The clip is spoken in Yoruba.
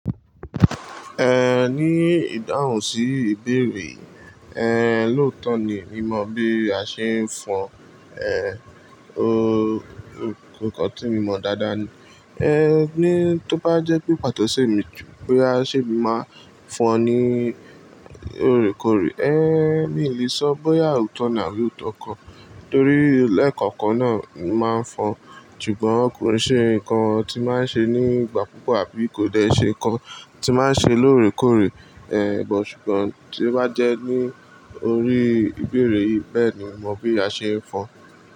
Eh, ní ìdáhùn sí ìbéèrè, ẹhn, lóòótọ́ ni, mi ò mọ̀ bí a ṣe ń fọn, ẹhn, o-- nǹkan tí mo mọ̀ dáadáa ni, ẹhn, ní tó bá jẹ́ pé pàtó ṣe mi jú pé a ṣe máa ń fọn ní òrékòrè, ẹhn, mi ò lè sọ bóyá òótọ́ ní àbí òótọ́ kọ torí lẹ́ẹ̀kọ̀kan náà máa ń fọn. Ṣùgbọ́n kò rí ṣe nǹkan tí máa ń ṣe nígbà kugbà àbí kò dẹ̀ ṣe nǹkan tí máa ń ṣe lóòrékòrè, ẹhn, bọ̀ ṣùgbọ́n tí ó bá jẹ́ ní orí ìbéèrè yìí bẹ́ẹ̀ ni mo mọ̀ bí a ṣe ń fọn.